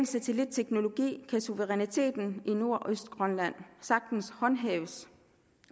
satellitteknologi kan suveræniteten i nordøstgrønland sagtens håndhæves